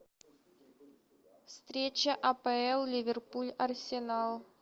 встреча апл ливерпуль арсенал